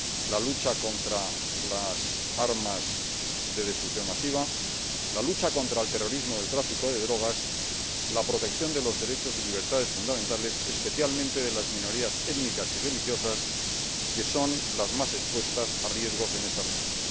la lucha contra las armas de destrucción masiva, la lucha contra el terrorismo y el tráfico de drogas, la protección de los derechos y libertades fundamentales, especialmente de las minorías étnicas y religiosas, que son las más expuestas a riesgos en esta región.